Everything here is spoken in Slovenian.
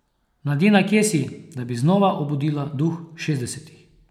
Mladina, kje si, da bi znova obudila duh šestdesetih?